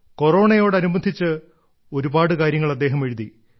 കൊറോണയോട് അനുബന്ധിച്ച് ഒരുപാട് കാര്യങ്ങൾ അദ്ദേഹം എഴുതി